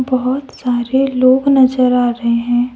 बहोत सारे लोग नजर आ रहे हैं।